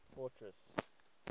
fortress